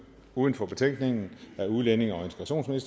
uden for betænkningen af udlændinge og